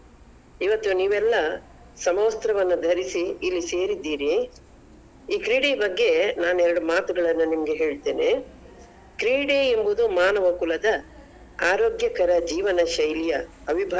ಇವತ್ತ್ ನೀವೆಲ್ಲ ಸಮವಸ್ತ್ರವನ್ನ ಧರಿಸಿ ಇಲ್ಲಿ ಸೇರಿದ್ದೀರಿ ಈ ಕ್ರೀಡೆಯ ಬಗ್ಗೆ ನಾನ್ ಎರಡು ಮಾತುಗಳ್ಳನ್ನ ಹೇಳ್ತೇನೆ. ಕ್ರೀಡೆ ಎಂಬುದು ಮಾನವ ಕುಲದ ಆರೋಗ್ಯಕರ ಜೀವನ ಶೈಲಿಯ.